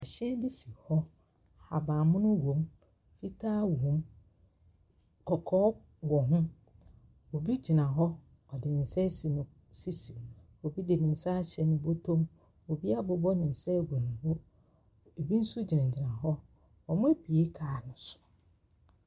Ɛhyɛn bi hɔ, ahabammono wɔm, fitaa wɔm a kɔkɔɔ wɔ ho, obi gyina hɔ, ɔde ne nsa asi ne sisi. Obi de ne nsa ahyɛ ne bɔtɔ mu, obi abobɔ ne nsa agu ne bo , ɛbi nso gyina gyina hɔ. Ɔmo abue kaa no so.